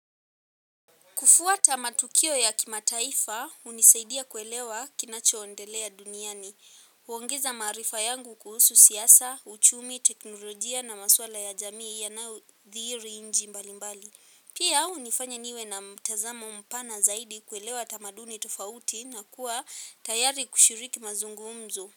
Kufuata matukio ya kimataifa hunisaidia kuelewa kinacho endelea duniani. Huongeza maarifa yangu kuhusu siyasa, uchumi, teknolojia na maswala ya jamii yanayodhiri inji mbali mbali. Pia hunifanya niwe na mtazamo mpana zaidi kuelewa tamaduni tofauti na kuwa tayari kushiriki mazungumzo.